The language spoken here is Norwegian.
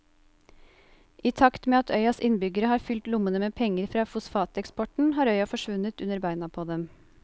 I takt med at øyas innbyggere har fylt lommene med penger fra fosfateksporten har øya forsvunnet under beina på dem.